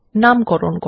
নামকরণ করা